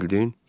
Bildin?